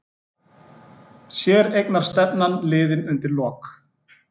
Séreignarstefnan liðin undir lok